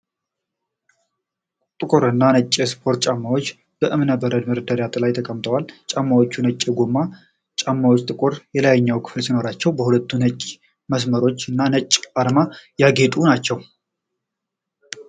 ቁር እና ነጭ የስፖርት ጫማዎች በእብነበረድ መደርደሪያ ላይ ተቀምጠዋል። ጫማዎቹ ነጭ የጎማ ጫማና ጥቁር የላይኛው ክፍል ሲኖራቸው፣ በሁለት ነጭ መስመሮች እና ነጭ አርማ ያጌጡ ናቸው።